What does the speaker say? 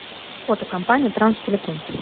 фото компания транстелеком